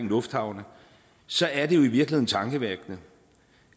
lufthavne så er det jo virkelig tankevækkende